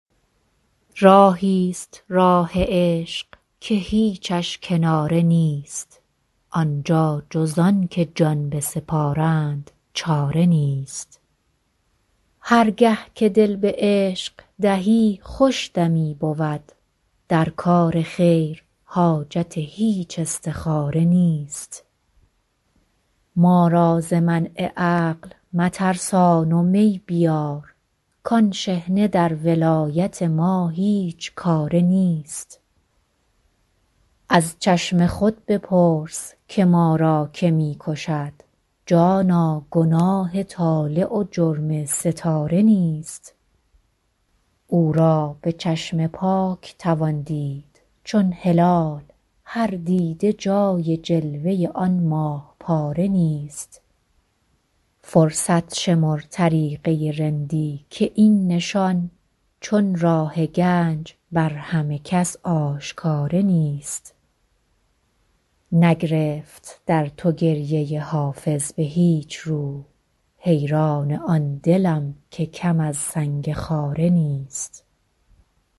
راهی ست راه عشق که هیچش کناره نیست آن جا جز آن که جان بسپارند چاره نیست هر گه که دل به عشق دهی خوش دمی بود در کار خیر حاجت هیچ استخاره نیست ما را ز منع عقل مترسان و می بیار کآن شحنه در ولایت ما هیچ کاره نیست از چشم خود بپرس که ما را که می کشد جانا گناه طالع و جرم ستاره نیست او را به چشم پاک توان دید چون هلال هر دیده جای جلوه آن ماه پاره نیست فرصت شمر طریقه رندی که این نشان چون راه گنج بر همه کس آشکاره نیست نگرفت در تو گریه حافظ به هیچ رو حیران آن دلم که کم از سنگ خاره نیست